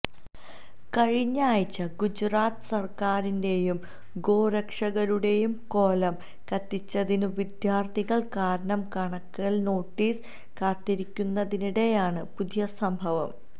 കഴിഞ്ഞയാഴ്ച്ച ഗുജറാത്ത് സര്ക്കാറിന്റേയും ഗോ രക്ഷകരുടേയും കോലം കത്തിച്ചതിന് വിദ്യാര്ത്ഥികള് കാരണം കാണിക്കല് നോട്ടീസ് കാത്തിരിക്കുന്നതിനിടേയാണ് പുതിയ സംഭവം